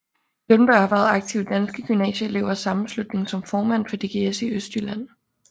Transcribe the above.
Lundberg har været aktiv i Danske Gymnasieelevers Sammenslutning som formand for DGS i Østjylland